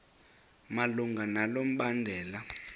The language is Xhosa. malunga nalo mbandela